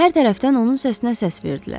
Hər tərəfdən onun səsinə səs verdilər.